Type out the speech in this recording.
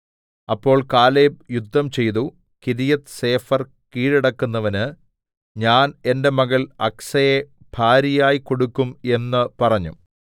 അപ്പോൾ കാലേബ് യുദ്ധംചെയ്തു കിര്യത്ത്സേഫെർ കീഴടക്കുന്നവന് ഞാൻ എന്റെ മകൾ അക്സയെ ഭാര്യയായി കൊടുക്കും എന്ന് പറഞ്ഞു